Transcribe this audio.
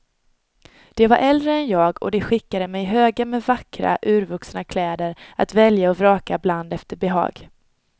De var äldre än jag och de skickade mig högar med vackra, urvuxna kläder att välja och vraka bland efter behag.